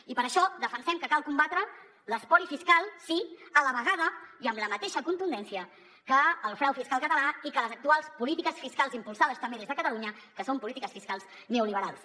i per això defensem que cal combatre l’espoli fiscal sí a la vegada i amb la mateixa contundència que el frau fiscal català i que les actuals polítiques fiscals impulsades també des de cata·lunya que són polítiques fiscals neoliberals